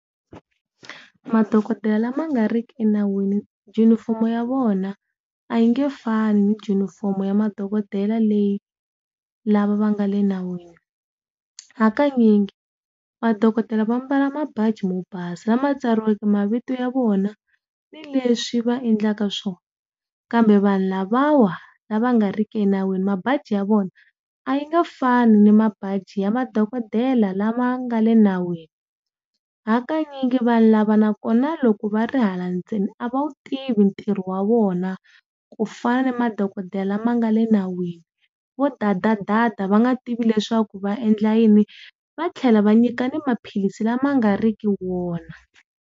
Madokodela lama nga riki enawini junifomo ya vona a yi nge fani ni junifomo ya madokodela leyi lava va nga le nawini. Hakanyingi madokodela va mbala mabaji yo basa lama tsariweke mavito ya vona ni leswi va endlaka swona, kambe vanhu lavawa lava nga riki enawini mabazi ya vona a yi nga fani ni mabadi ya madokodela lama nga le nawini. Hakanyingi vanhu lava na kona loko va ri hala ndzeni a va wu tivi ntirho wa vona ku fana na madokodela la ma nga le nawini vo dadadada va nga tivi leswaku va endla yini va tlhela va nyika na maphilisi lama nga riki wona.